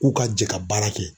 K'u ka jɛ ka baara kɛ